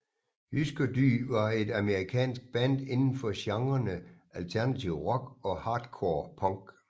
Hüsker Dü var et amerikansk band inden for genrerne alternativ rock og hardcore punk